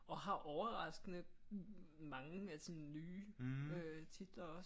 Og har overraskende mange af sådan nye øh titler også